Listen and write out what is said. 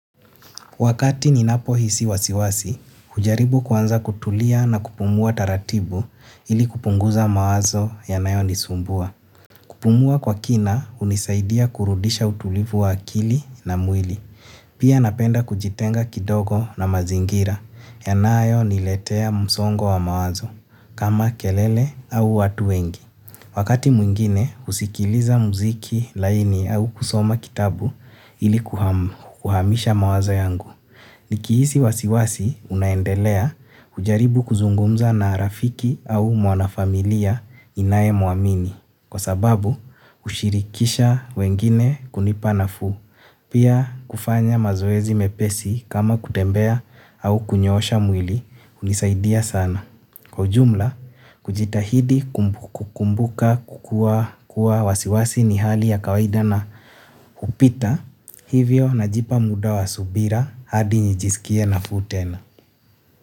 Wakati ninapo hisi wasiwasi, hujaribu kuanza kutulia na kupumua taratibu ili kupunguza mawazo yanayo nisumbua. Kupumua kwa kina hunisaidia kurudisha utulivu wa akili na mwili. Pia napenda kujitenga kidogo na mazingira yanayo niletea msongo wa mawazo kama kelele au watu wengi. Wakati mwingine, husikiliza muziki laini au kusoma kitabu ili kuhamisha mawazo yangu. Nikihisi wasiwasi unaendelea hujaribu kuzungumza na rafiki au mwanafamilia ninaye muamini. Kwa sababu, hushirikisha wengine kunipa nafuu. Pia kufanya mazoezi mepesi kama kutembea au kunyoosha mwili hunisaidia sana. Kwa ujumla, kujitahidi kukumbuka kukuwa kuwa wasiwasi ni hali ya kawaida na hupita hivyo najipa muda wa subira hadi njisikie nafuu tena.